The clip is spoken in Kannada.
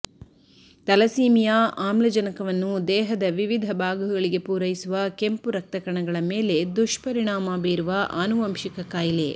ತಲಸೀಮಿಯಾ ಆಮ್ಲಜನಕವನ್ನು ದೇಹದ ವಿವಿಧ ಭಾಗಗಳಿಗೆ ಪೂರೈಸುವ ಕೆಂಪು ರಕ್ತಕಣಗಳ ಮೇಲೆ ದುಷ್ಪರಿಣಾಮ ಬೀರುವ ಆನುವಂಶಿಕ ಕಾಯಿಲೆ